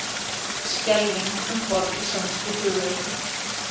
Skelfing um borð í sænskri flugvél